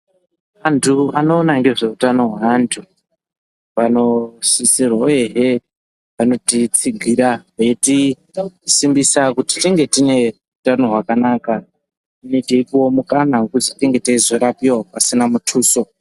Antu anoona nezveutano hweantu vanosisirwe, uyehe vanotitsigira veiti simbisa kuti tinge tine utano hwakanaka. Uye teipuwa mukana wekuti tinge teizorapiva pasina mutuso.